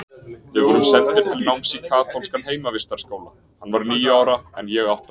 Við vorum sendir til náms í kaþólskan heimavistarskóla, hann var níu ára en ég átta.